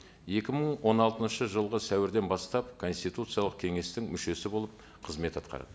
екі мың он алтыншы жылғы сәуірден бастап конституциялық кеңестің мүшесі болып қызмет атқарды